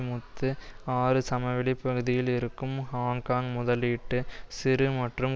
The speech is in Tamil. முத்து ஆறு சமவெளி பகுதியில் இருக்கும் ஹாங்காங் முதலீட்டு சிறு மற்றும்